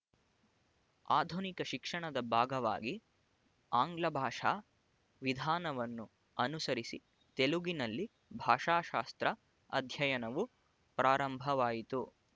ಆಧುನಿಕ ಶಿಕ್ಷಣದ ಭಾಗವಾಗಿ ಆಂಗ್ಲಭಾಷಾ ವಿಧಾನವನ್ನು ಅನುಸರಿಸಿ ತೆಲುಗಿನಲ್ಲಿ ಭಾಷಾಶಾಸ್ತ್ರ ಅಧ್ಯಯನವು ಪ್ರಾರಂಭವಾಯಿತು